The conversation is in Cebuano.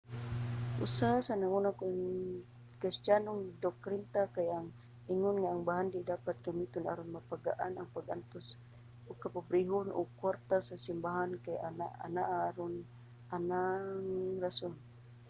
usa sa nangunang kristiyanong doktrina kay ang ingon nga ang bahandi dapat gamiton aron mapagaan ang pag-antos ug kapobrehon ug ang kwarta sa simbahan kay anaa aron ana nga rason